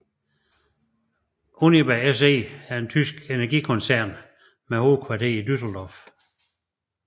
Uniper SE er en tysk energikoncern med hovedkvarter i Düsseldorf